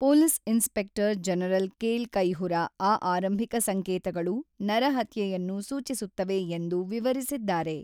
Police inspector general Kale Kayihura ಆ ಆರಂಭಿಕ ಸಂಕೇತಗಳು "ನರಹತ್ಯೆ"ಯನ್ನು ಸೂಚಿಸುತ್ತವೆ ಎಂದು ವಿವರಿಸಿದ್ದಾರೆ.